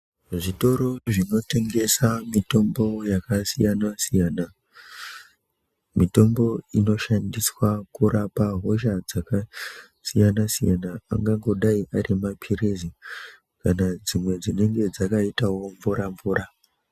Zvitoro zvinotengesa mitombo yakasiyana siyana, mitombo inoshandiswa kurapa hosha dzakasiyana siyana angangodai ari maphirizi kana dzimwe dzinenge dzakaitawo mvura-mvura.